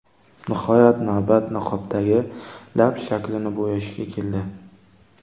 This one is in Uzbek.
Nihoyat, navbat niqobdagi lab shaklini bo‘yashga keldi.